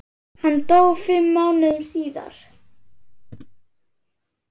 Hann dó fimm mánuðum síðar.